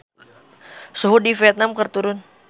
Suhu di Vietman keur turun